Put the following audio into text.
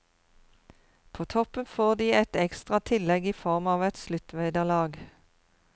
På toppen får de et ekstra tillegg i form av et sluttvederlag.